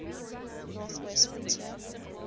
north west frontier